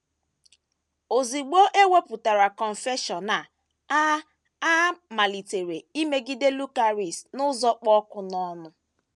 Ozugbo e wepụtasịrị Confession a, a, a maliteghachiri imegide Lucaris n’ụzọ kpụ ọkụ n’ọnụ.